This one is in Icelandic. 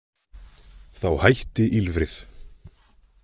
Þá hætti ýlfrið.